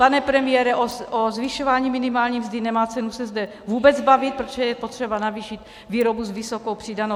Pane premiére, o zvyšování minimální mzdy nemá cenu se zde vůbec bavit, protože je potřeba navýšit výrobu s vysokou přidanou hodnotou.